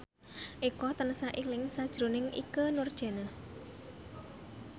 Eko tansah eling sakjroning Ikke Nurjanah